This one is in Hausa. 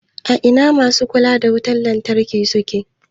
A ina masu kula da wutan lantarki suke?